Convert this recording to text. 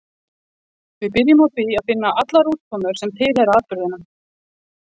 Við byrjum á því að finna allar útkomur sem tilheyra atburðinum.